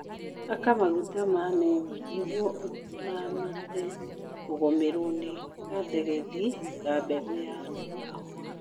Haka maguta ma neemu nĩguo ũramate kũgũmĩrwo ni gathegethi ga mbegũ ya kahũa